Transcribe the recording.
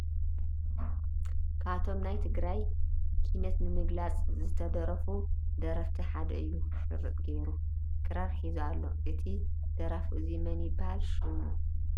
ካብቶም ናይ ትግራይ ኪናት ንምግላፅ ዝደረፉ ደረፍቲ ሓደ እዩ ሽርጥ ጌሩ፣ ክራር ሒዙ ኣሎ። እዚ ደራፊ እዙይ መን ይበሃል ሽሙ ?